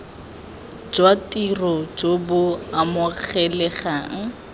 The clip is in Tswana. jwa tiro jo bo amogelegang